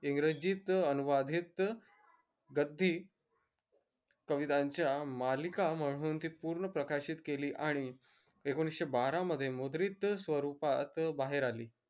इंग्रजीत अनुवादीत गद्दी कवितांच्या मालिका म्हणून ती पूर्ण प्रकाशित काली आणि एकोनिषे बारा मध्ये मुद्रित स्वरूपात बाहेर आली